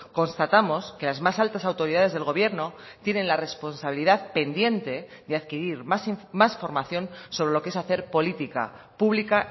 constatamos que las más altas autoridades del gobierno tienen la responsabilidad pendiente de adquirir más formación sobre lo que es hacer política pública